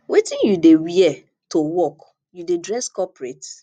wetin you dey wear to work you dey dress corporate